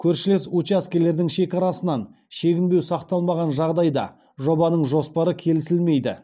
көршілес учаскелердің шекарасынан шегінбеу сақталмаған жағдайда жобаның жоспары келісілмейді